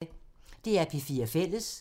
DR P4 Fælles